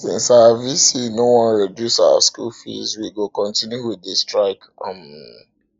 since our vc no wan reduce our school fees we go continue with the strike um